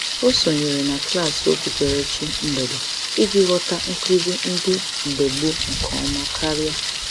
Ọ sonyere na klaasị okpukperechi mgbede iji ghọta nkụzi ndị mgbe gboo nke ọma karịa.